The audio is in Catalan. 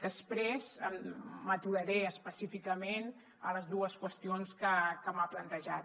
després m’aturaré específicament a les dues qüestions que m’ha plantejat